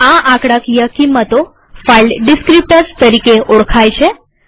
આ આંકડાકીય કિંમતો ફાઈલ ડીસ્ક્રીપ્ટર્સ તરીકે ઓળખાય છે